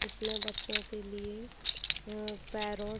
जिसमे बच्चो के लिए अं पेरोट --